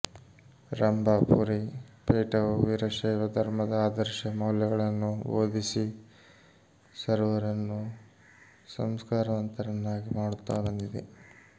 ರಂಭಾಪುರಿ ಪೀಠವು ವೀರಶೈವ ಧರ್ಮದ ಆದರ್ಶ ಮೌಲ್ಯಗಳನ್ನು ಬೋಧಿಸಿ ಸರ್ವರನ್ನೂ ಸಂಸ್ಕಾರವಂತರನ್ನಾಗಿ ಮಾಡುತ್ತಾ ಬಂದಿದೆ ಎಂದರು